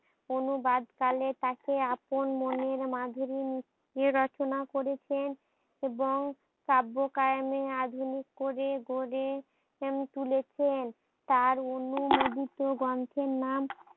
অনুবাদ কালে তাকে আপন মনের মাঝে রি রচনা করেছেন এবং কাব্য কায়েমে আধুনিক করে গড়ে তুলেছেন তার অনুমোদিত গ্রন্থের নাম